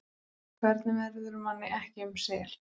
Hvernig verður manni ekki um sel?